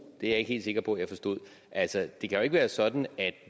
det er jeg ikke helt sikker på jeg forstod altså det kan jo ikke være sådan at